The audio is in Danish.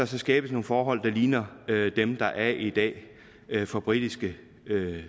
skal skabes nogle forhold der ligner dem der er i dag for britiske